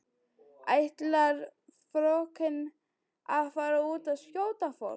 Ætlar frökenin að fara út og skjóta fólk?